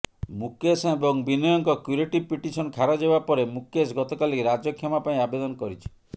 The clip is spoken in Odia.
ମୁକେଶ ଏବଂ ବିନୟଙ୍କ କ୍ୟୁରେଟିଭ ପିଟିସନ ଖାରଜ ହେବା ପରେ ମୁକେଶ ଗତକାଲି ରାଜକ୍ଷମା ପାଇଁ ଆବେଦନ କରିଛି